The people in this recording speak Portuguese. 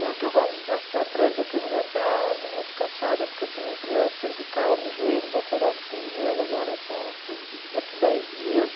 Não é que eu goste de estar atrás da câmera, eu até ando muito cansada, porque eu tenho um problema cervical no joelho, vou operar o segundo joelho agora essa daqui a dez dias.